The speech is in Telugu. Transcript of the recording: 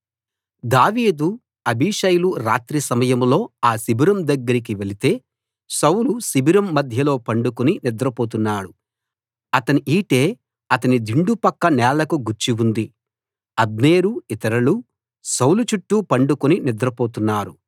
దావీదు అబీషైలు రాత్రి సమయంలో ఆ శిబిరం దగ్గరికి వెళితే సౌలు శిబిరం మధ్యలో పండుకుని నిద్రపోతున్నాడు అతని ఈటె అతని దిండు పక్క నేలకు గుచ్చి ఉంది అబ్నేరు ఇతరులు సౌలు చుట్టూ పండుకుని నిద్రపోతున్నారు